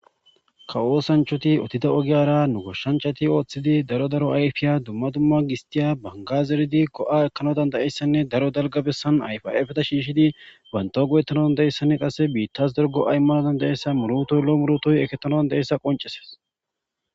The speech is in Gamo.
Kawo oosanchchati odiddo ogiyara nu goshshanchati otidi daro daro ayfiya dumma dumma gisttiya , bangga zeridi go7a ekkanas dandda7iyassane daro dalgga bessan ayfa ayfeta shiishidi banttaw go7etanaw dandda7iyayssanee biittas daro go7a immanas dandda7iyayssa muruutoy loo diyayssa qonccisees.